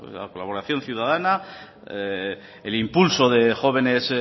la colaboración ciudadana el impulso de jóvenes